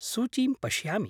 सूचीं पश्यामि।